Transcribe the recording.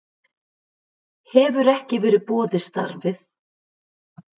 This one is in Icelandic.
Hefur ekki verið boðið starfið